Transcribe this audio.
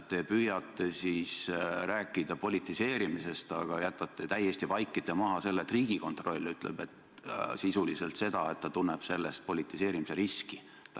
Te püüate rääkida politiseerimisest, aga vaikite täiesti maha selle, et Riigikontroll ütleb sisuliselt seda, et ta tunneb selles politiseerimise riski.